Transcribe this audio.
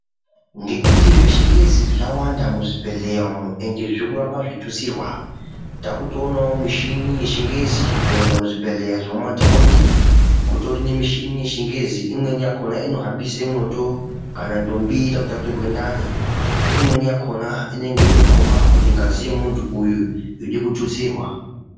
Ngekuti zvechingezi zvawanda muzvibhehleya umu ende zvirikuramba zveitutsirwa takutoonawo mishini yechingezi kunyanya muzvibhehelya zvemumataundi kutori nemishini yechingezi imweni yakona inohambise mwoto kana ndombi irikude kutaturwe ndani, imweni yakaona inonga yeitokomba kuti ngazi yemuntu uyu yode kutustirwa.